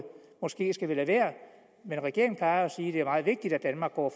måske skal vi lade være men regeringen plejer jo at sige at det er meget vigtigt at danmark går